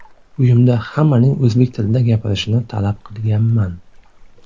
Uyimda hammaning o‘zbek tilida gapirishini talab qilganman.